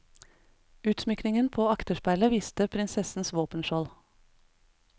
Utsmykkningen på akterspeilet viste prinsessens våpenskjold.